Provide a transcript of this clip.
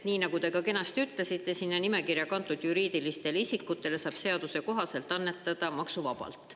Nii nagu te ka kenasti ütlesite, saab sinna nimekirja kantud juriidilistele isikutele seaduse kohaselt annetada maksuvabalt.